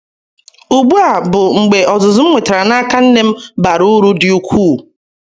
Ugbu a bụ mgbe ọzụzụ m nwetara n’aka nne m bara uru dị ukwuu.